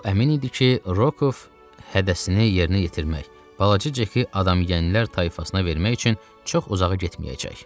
O əmin idi ki, Rokov hədəsini yerinə yetirmək, balaca Ceki adamyeyənlər tayfasına vermək üçün çox uzağa getməyəcək.